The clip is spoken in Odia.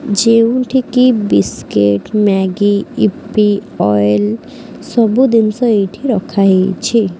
ଯେଉଁଠି କି ବିସ୍କୁଟ ମେଗି ଇପି ଅଏଲ୍ ସବୁ ଜିନିଷ ଏଇଠି ରଖା ହେଇଛି।